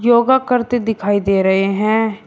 योगा करते दिखाई दे रहे है।